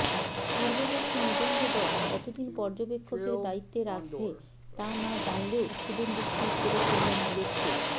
পূর্ববর্তী নিবন্ধদল কত দিন পর্যবেক্ষকের দায়িত্বে রাখবে তা না জানলেও শুভেন্দু স্থির করে ফেললেন লক্ষ্য